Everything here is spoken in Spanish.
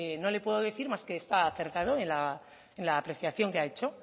no le puedo decir más que está acertado en la apreciación que ha hecho